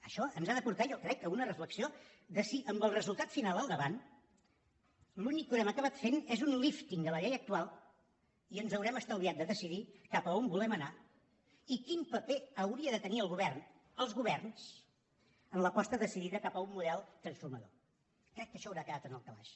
això ens ha de portar jo ho crec a una reflexió de si amb el resultat final al davant l’únic que haurem acabat fent és un lífting a la llei actual i ens haurem estalviat de decidir cap a on volem anar i quin paper hauria de tenir el govern els governs en l’aposta decidida cap a un model transformador crec que això haurà quedat en el calaix